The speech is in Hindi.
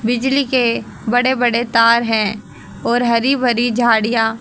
बिजली के बड़े बड़े तार है और हरी भरी झाड़िया।